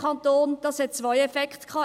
Dies hatte zwei Effekte: